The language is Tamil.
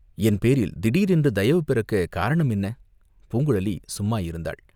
என் பேரில் திடீரென்று தயவு பிறக்கக் காரணம் என்ன?" பூங்குழலி சும்மா இருந்தாள்.